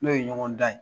N'o ye ɲɔgɔn dan ye